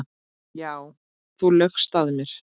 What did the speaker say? Já, þú laugst að mér.